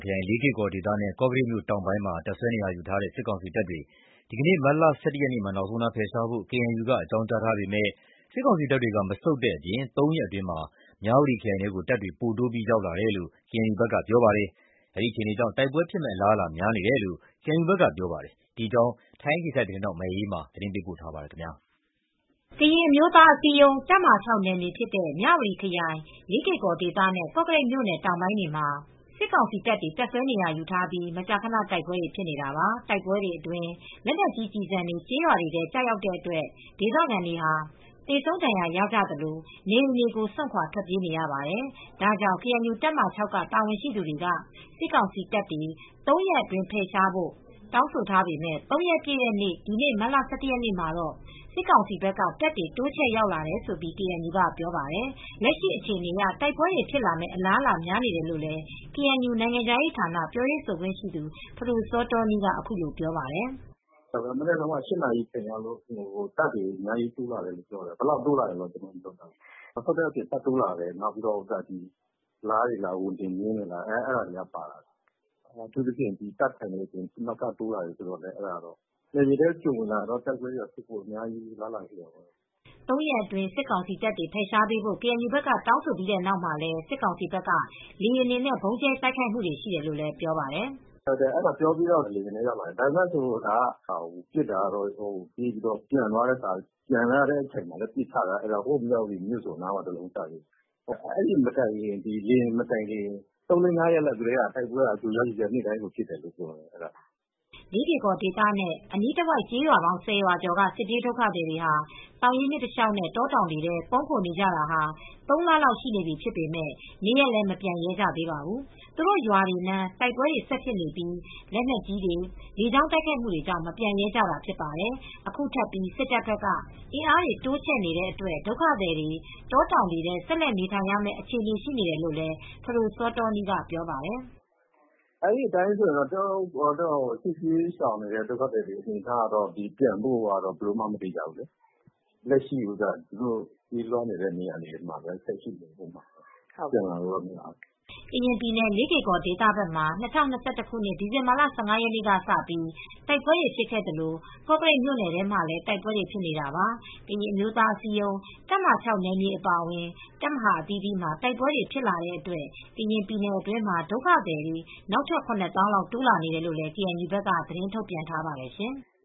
ခရိုင် လေးကေ့ ကော်ဒေသနဲ့ ကော့ကရိတ်မြို့ တောင်ပိုင်းမှာ တပ်စွဲနေရာယူထားတဲ့ စစ်ကောင်စီတပ်တွေကို ဒီနေ့ မတ်လ ၁၁ ရက် နောက်ဆုံးထားပြီး ဖယ်ရှားပေးဖို့ အသိပေးထားပါတယ်။ ဒါပေမယ့် စစ်ကောင်စီတပ် တွေက မဆုတ်ခွါတဲ့အပြင် ၃ ရက်အတွင်း မြဝတီခရိုင်ထဲကို တပ်တွေ ပိုတိုးရောက်လာတယ်လို့ KNU ဘက်ကပြောပါတယ်။ အဲဒီလိုအခြေအနေကြောင့် တိုက်ပွဲဖြစ်မယ့်အလားအလာများနေတယ်လို့ KNU ဘက်ကပြောပါတယ်။ ဒီအကြောင်း ထိုင်းအခြေစိုက် ဗွီအိုအေသတင်းထောက်မအေးအေးမာ သတင်းပေးပို့ထားပါတယ်။ ကရင်အမျိုးသားအစည်းအရုံးတပ်မဟာ နယ်မြေဖြစ်တဲ့ မြဝတီခရိုင် ၊ လေးကေ့ ကော်နဲ့ ကောကရိတ်မြို့တောင်ပိုင်းတွေမှာ စစ်ကောင်စီတပ်တွေ တပ်စွဲနေရာယူထားပြီး မကြာခန တိုက်ပွဲတွေဖြစ်နေတာပါ။ တိုက်ပွဲတွေအတွင်း လက်နက်ကြီးကျည်ဆံတွေ ကျေးရွာတွေထဲ ကျတဲ့ အတွက် ဒေသခံတွေ သေဆုံးဒဏ်ရာရကြသလို နေအိမ်တွေကို စွန်ခွာထွက်ပြေးနေရပါတယ်။ ဒါကြောင့် ကေအန်ယူတပ်မဟာ က တာဝန်ရှိသူတွေက စစ်ကောင်စီတပ်တွေ ၃ ရက်အတွင်း ဖယ်ရှားဖို့ တောင်းဆိုထားပေမယ့် ၃ ရက်ပြည့်တဲ့ ဒီနေ့ မတ်လ ၁၁ ရက်နေ့မှာတော့ စစ်ကောင်စီ ဘက်က တပ်တွေတိုးချဲ့ ရောက်လာတယ်လို့ KNU ကပြောပါတယ်။ လက်ရှိအခြေအနေအရ တိုက်ပွဲတွေဖြစ်လာမယ့် အလားအလာများနေတယ်လို့ KNUရဲ့ နိုင်ငံခြားရေးဌာန ပြောရေးဆိုခွင့်ရှိသူ ဖဒိုစောတောနီးက အခုလိုပြောပြပါတယ်။ “မနက်တုန်းက ၈ နာရီလောက်က တပ်တွေအများကြီးတိုးလာတယ်ပြောတယ်။ ဘယ်လောက်ထိ တိုးလာလဲဆိုတာတော့ ပြောမရသေးဘူး။ မဆုတ်ခွါတဲ့အပြင် တပ်တွေတိုးလာတယ်။ နောက်ပြီးတော့ ဝန်တင်မြင်းတွေ လားတွေလည်း ပါတယ်။ နယ်မြေထဲ ကျွံဝင်လာပြီဆိုရင်တော့ တိုက်ပွဲတွေဖြစ်ဖို့ကတော့ အလားအလာ အများကြီးရှိတယ်။” မတ်လ ၉ ရက်နေ့ကစလို့ ၃ ရက်အတွင်း စစ်ကောင်စီတပ်တွေ ဖယ်ရှားပေးဖို့ KNU ဘက်က တောင်းဆိုပြီးတဲ့နောက်မှာလည်း စစ်ကောင်စီဘက်က လေယာဉ်တွေနဲ့ ဗုံးကြဲတိုက်ခိုက်တာတွေ ရှိတယ်လို့ ပြောပါတယ်။ “ပြောပြီးတာနဲ့ လေယာဉ်နဲ့လည်း ရောက်လာတယ်။ ပစ်တာကတော့ ပျံလာတဲ့အချိန်မှာပစ်ချတယ် ဟိုး မြဝတီမြို့စွန်နားမှာလည်း တလုံးကျတယ်။ အဲဒီလေယာဉ်မတိုင်ခင်ကလည်း သုံးလေး ငါးရက် ကတည်းက တိုက်ပွဲက ကြို့ ကြားဖြစ်နေတာပါ။” လေးကေ့ကော်ဒေသနဲ့ အနီးတဝိုက်ကျေးရွာပေါင်း ၁၀ ရွာကျော်က စစ်ပြေးဒုက္ခသည်တွေဟာ သောရင်းမြစ်ကမ်းတလျှောက်နဲ့ တောတောင်တွေထဲ ပုန်းခိုနေကြရတာ ၃ လလောက်ရှိနေပြီဖြစ်ပေမဲ့ နေရပ်လည်း မပြန်ရဲကြသေးပါဘူး။ သူတို့ရွာတွေနား၊ တိုက်ပွဲတွေ ဆက်ဖြစ်နေပြီး လက်နက်ကြီးတွေ၊ လေကြောင်းတိုက်ခိုက်မှုတွေကြောင့် မပြန်ရဲကြတာဖြစ်ပါတယ်။ အခုထပ်ပြီး စစ်တပ်ဘက်က အင်အားတွေ တိုးချဲ့နေတဲ့အတွက် ဒုက္ခသည်တွေ တောတောင်တွေထဲ ဆက်လက်နေထိုင်ရမယ့် အခြေအနေရှိနေတယ်လို့လည်း ဖဒိုစောတောနီးက ပြောပါတယ်။ “ဒီအတိုင်းဆိုရင်တော့ စစ်ဘေးရှောင်တွေအနေအထားက ပြန်ဖို့ အလားအလာမသေချာဘူး။ လက်ရှိပြေးလွှားနေတဲ့နေရာတွေမှာပဲ နေကြရအုန်းမယ်။ ပြန်လာလို့ မရသေးဘူး။” ကရင်ပြည်နယ် လေးကေ့ကော်ဒေသမှာ ၂၀၂၁ ခုနှစ် ဒီဇင်ဘာလ ၁၅ ရက်နေ့ကစပြီး တိုက်ပွဲတွေ ဖြစ်ခဲ့သလို ကော့ကရိတ်မြို့နယ်ထဲမှာလည်း တိုက်ပွဲတွေဖြစ်နေတာပါ။ ကရင်အမျိုးသားအစည်းအရုံး တပ်မဟာ နယ်မြေအပါအဝင် တပ်မဟာအသီးသီးမှာ တိုက်ပွဲတွေဖြစ်လာတဲ့အတွက် ကရင်ပြည်နယ်အတွင်းမှာ ဒုက္ခသည်နောက်ထပ် ၇ သောင်းလောက် တိုးလာတယ်လို့လည်း ကေအန်ယူဘက်က သတင်းထုတ်ပြန်ထားပါတယ်ရှင်။